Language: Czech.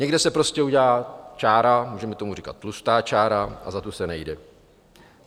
Někde se prostě udělá čára, můžeme tomu říkat tlustá čára, a za tu se nejde.